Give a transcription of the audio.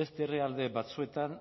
beste herrialde batzuetan